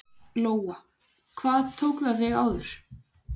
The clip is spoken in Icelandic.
Lóa: Hvað tók það þig áður?